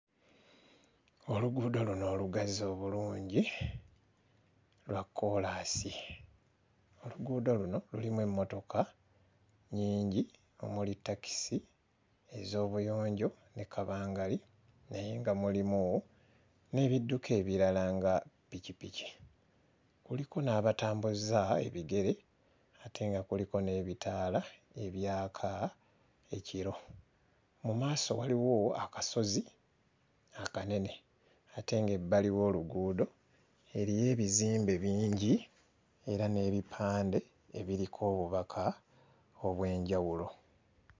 Oluguudo luno olugazi obulungi lwa kkoolaasi. Oluguudo luno lulimu emmotoka nnyingi omuli takisi ez'obuyonjo ne kabangali naye nga mulimu n'ebidduka ebirala nga ppikipiki, kuliko n'abatambuza ebigere ate nga kuliko n'ebitaala abyaka ekiro. Mu maaso waliwo akasozi akanene ate ng'ebbali w'oluguudo eriyo ebizimbe bingi era n'ebipande ebiriko obubaka obw'enjawulo.